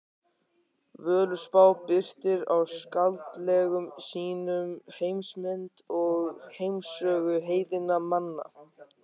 Völuspá birtir í skáldlegum sýnum heimsmynd og heimssögu heiðinna manna.